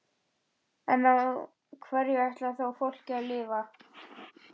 En á hverju ætlarðu þá fólkinu að lifa?